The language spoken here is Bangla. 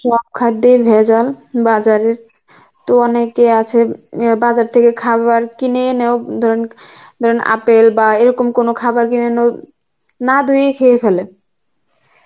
সব খাদ্যেই ভেজাল বাজার এ, তো অনেকে আছে এন বাজার থেকে খাবার কিনে এনেও ধরুন আপেল বা এরকম কোনো খাবার কিনে এনেও না ধুয়ে খেয়ে ফেলে